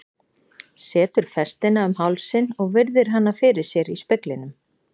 Setur festina um hálsinn og virðir hana fyrir sér í speglinum.